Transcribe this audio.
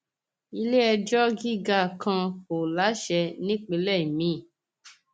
iléẹjọ gíga kan kò láṣẹ nípínlẹ miín